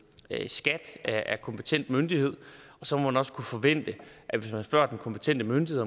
skat er kompetent myndighed og så må man også kunne forvente at hvis man spørger den kompetente myndighed